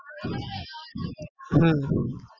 હમ